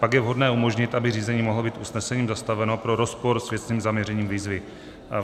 Pak je vhodné umožnit, aby řízení mohlo být usnesením zastaveno pro rozpor s věcným zaměřením výzvy.